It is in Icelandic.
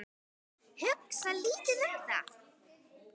Hugsa lítið um það.